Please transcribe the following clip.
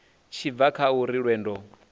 tshi bva kha uri lwendo